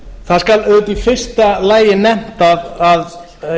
það skal auðvitað í fyrsta lagi nefnt að